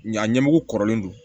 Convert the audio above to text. Ɲ'a ɲɛmugu kɔrɔlen don